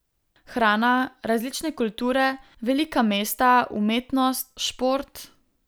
Hrana, različne kulture, velika mesta, umetnost, šport ...